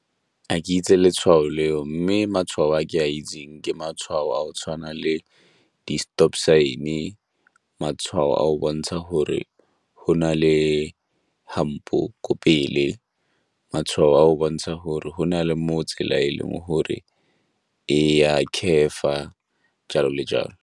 A ke itse letshwao leo, mme matshwao a ke a itseng ke matshwao a go tshwana le di-stop sign, matshwao a go bontsha gore go na le di-hump-o ko pele, matshwao a go bontsha gore go na le mo tsela e leng gore e a curve-fa, jalo le jalo.